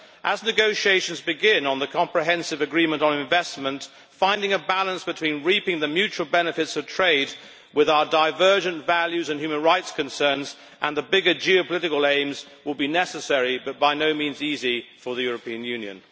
As negotiations begin on the comprehensive agreement on investment, finding a balance between reaping the mutual benefits of trade with our divergent values and human rights concerns and the bigger geopolitical aims will be necessary but by no means easy for the European Union.